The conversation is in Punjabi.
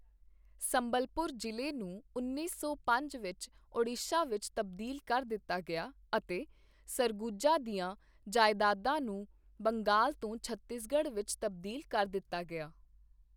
ਸੰਬਲਪੁਰ ਜ਼ਿਲ੍ਹੇ ਨੂੰ ਉੱਨੀ ਸੌ ਪੰਜ ਵਿੱਚ ਓਡੀਸ਼ਾ ਵਿੱਚ ਤਬਦੀਲ ਕਰ ਦਿੱਤਾ ਗਿਆ ਅਤੇ ਸਰਗੁਜਾ ਦੀਆਂ ਜਾਇਦਾਦਾਂ ਨੂੰ ਬੰਗਾਲ ਤੋਂ ਛੱਤੀਸਗੜ੍ਹ ਵਿੱਚ ਤਬਦੀਲ ਕਰ ਦਿੱਤਾ ਗਿਆ।